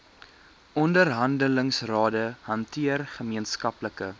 onderhandelingsrade hanteer gemeenskaplike